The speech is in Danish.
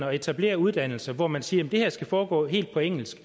at etablere uddannelser hvor man siger at det her skal foregå helt på engelsk